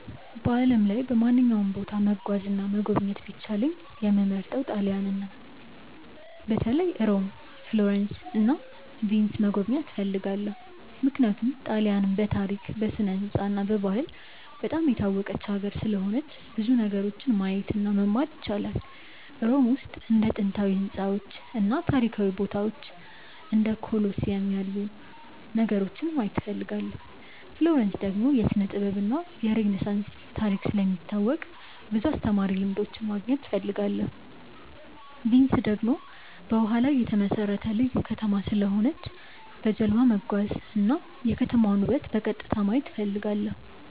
በዓለም ላይ በማንኛውም ቦታ መጓዝ እና መጎብኘት ቢቻለኝ የምመርጠው ጣሊያንን ነው። በተለይ ሮም፣ ፍሎረንስ እና ቪንስን መጎብኘት እፈልጋለሁ። ምክንያቱም ጣሊያንን በታሪክ፣ በስነ-ሕንፃ እና በባህል በጣም የታወቀች ሀገር ስለሆነች ብዙ ነገሮችን ማየት እና መማር ይቻላል። ሮም ውስጥ እንደ ጥንታዊ ሕንፃዎች እና ታሪካዊ ቦታዎች እንደ ኮሎሲየም ያሉ ነገሮችን ማየት እፈልጋለሁ። ፍሎረንስ ደግሞ የስነ-ጥበብ እና የሬነሳንስ ታሪክ ስለሚታወቅ ብዙ አስተማሪ ልምዶች ማግኘት እፈልጋለሁ። ቪንስ ደግሞ በውሃ ላይ የተመሠረተ ልዩ ከተማ ስለሆነች በጀልባ መጓዝ እና የከተማዋን ውበት በቀጥታ ማየት እፈልጋለሁ።